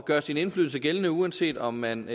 gøre sin indflydelse gældende uanset om man